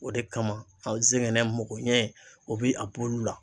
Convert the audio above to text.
O de kama sɛgɛnɛ mako ɲɛ o bi a bɔ olu la.